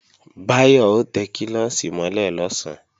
Báyọ̀ ó tẹ klọ́ọ̀ṣì mọ́ lẹ̀ lọ̀sán